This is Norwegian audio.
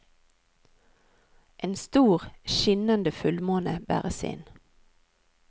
En stor, skinnende fullmåne bæres inn.